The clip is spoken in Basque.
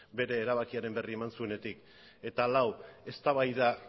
bere erabakiaren berri eman zuenetik eta lau eztabaida